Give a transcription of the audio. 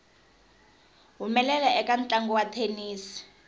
humelela eka ntlangu wa thenisi